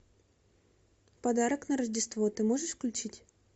подарок на рождество ты можешь включить